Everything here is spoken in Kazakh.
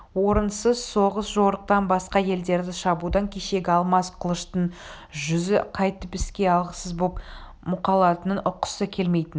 орынсыз соғыс-жорықтан басқа елдерді шабудан кешегі алмас қылыштың жүзі қайтып іске алғысыз боп мұқалатынын ұққысы келмейтін